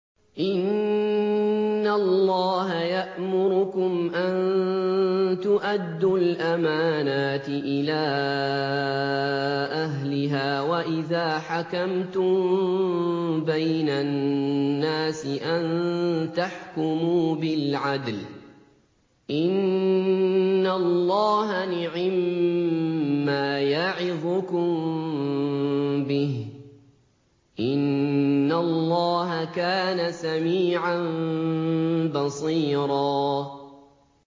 ۞ إِنَّ اللَّهَ يَأْمُرُكُمْ أَن تُؤَدُّوا الْأَمَانَاتِ إِلَىٰ أَهْلِهَا وَإِذَا حَكَمْتُم بَيْنَ النَّاسِ أَن تَحْكُمُوا بِالْعَدْلِ ۚ إِنَّ اللَّهَ نِعِمَّا يَعِظُكُم بِهِ ۗ إِنَّ اللَّهَ كَانَ سَمِيعًا بَصِيرًا